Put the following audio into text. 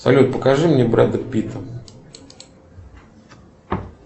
салют покажи мне бреда питта